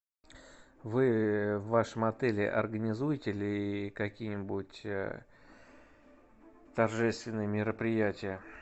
вы в вашем отеле организуете ли какие нибудь торжественные мероприятия